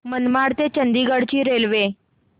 मडगाव ते चंडीगढ ची रेल्वे